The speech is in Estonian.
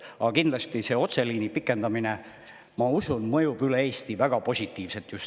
Kuid kindlasti see otseliini pikendamine mõjub üle Eesti väga positiivselt, ma usun.